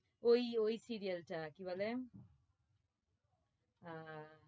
ওই ওই serial টা কি বলে আহ